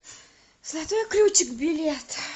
золотой ключик билет